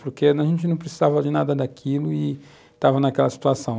Porque a gente não precisava de nada daquilo e estava naquela situação.